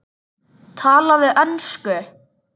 Talaðu ensku!